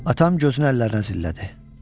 Atam gözünü əllərinə zillədi.